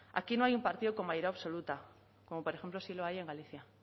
aquí no hay un partido con mayoría absoluta como por ejemplo sí lo hay en galicia